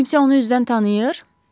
Kimsə onu üzdən tanıyır?